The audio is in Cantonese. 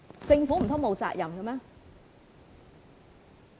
政府難道沒責任嗎？